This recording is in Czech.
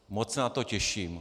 Moc se na to těším.